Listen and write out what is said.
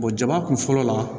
jaba kun fɔlɔ la